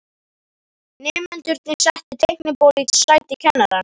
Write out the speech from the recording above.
Nemendurnir settu teiknibólu í sæti kennarans.